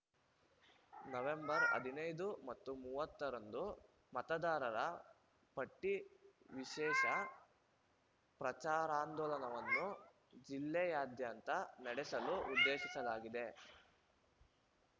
November ಹದಿನೈದು ಮತ್ತು ಮೂವತ್ತರಂದು ಮತದಾರರ ಪಟ್ಟಿವಿಶೇಷ ಪ್ರಚಾರಾಂದೋಲನವನ್ನು ಜಿಲ್ಲೆಯಾದ್ಯಂತ ನಡೆಸಲು ಉದ್ದೇಶಿಸಲಾಗಿದೆ